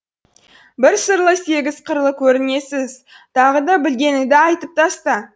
бір сырлы сегіз қырлы көрінесіз тағы да білгеніңді айтып таста